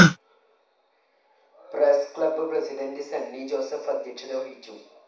press club president Sunny Joseph അധ്യക്ഷത വഹിച്ചു